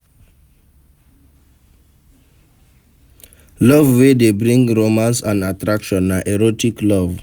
Love wey de bring romance and attraction na erotic love